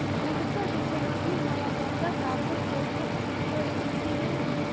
облыста жыл соңына дейін май ауданында тағы бір топтық су құбыры игілікке берілмек